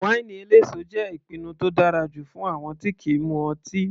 Wáínì eléso jẹ́ ìpinnu tó dára jù fún àwọn tí kìí mu ọtí.